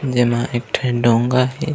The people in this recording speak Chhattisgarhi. जेमा एक ठन डोंगा हे।